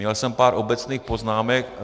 Měl jsem pár obecných poznámek.